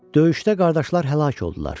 Döyüşdə qardaşlar həlak oldular.